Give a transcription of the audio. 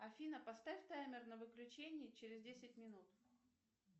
афина поставь таймер на выключение через десять минут